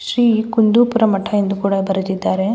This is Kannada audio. ಶ್ರೀ ಕುಂದುಪುರ ಮಠ ಎಂದು ಕೂಡ ಬರೆದಿದ್ದರೆ.